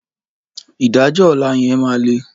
Ìdájọ́ ọ̀la yẹn máa le.